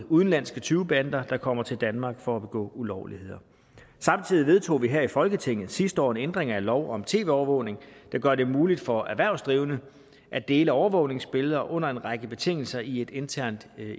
udenlandske tyvebander der kommer til danmark for at begå ulovligheder samtidig vedtog vi her i folketinget sidste år en ændring af lov om tv overvågning der gør det muligt for erhvervsdrivende at dele overvågningsbilleder under en række betingelser i et internt